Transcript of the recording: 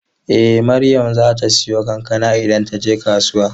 Eh Maryam zata siyo kankana idan taje kasuwa.